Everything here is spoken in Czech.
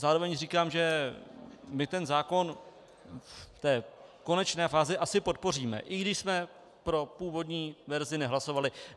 Zároveň říkám, že my ten zákon v té konečné fázi asi podpoříme, i když jsme pro původní verzi nehlasovali.